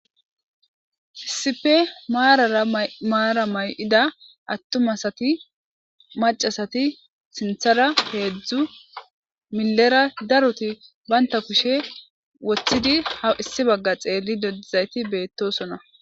Issippe Marara mara mayidda attuma asati macca asati sinththara hedzdzu millera daroti banta kushshe woththidi ha issi bagga xellide dizzaysati bettosona.